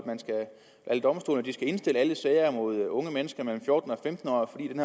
alle domstolene skal indstille alle sager mod unge mennesker mellem fjorten og femten år